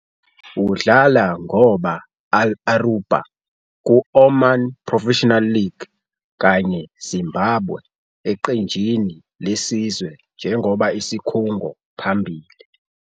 Udlala ngoba Al-Orouba ku Oman Professional League kanye Zimbabwe eqenjini lesizwe njengoba isikhungo phambili.